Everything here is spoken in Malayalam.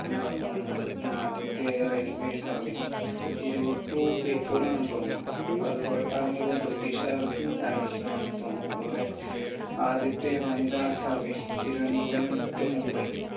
എന്നാണ് തോന്നുന്നത് ആദ്യത്തെ railway service Tirur to Beypore ആണെന്ന് തോന്നുന്നു അത് കുറേക്കാലങ്ങൾക്ക് മുൻപ് British കാർ നിർമ്മിച്ചതാണെന്ന് തോന്നുന്നു അതുപോലെ ആദ്യത്തെ വനിതാ service തിരുവനന്തപുരം to മുംബൈ